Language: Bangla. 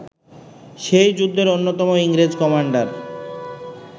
সেই যুদ্ধের অন্যতম ইংরেজ কমান্ডার